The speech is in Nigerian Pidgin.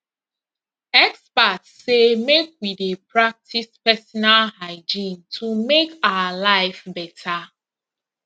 experts say make we dey practice personal hygiene to make our life better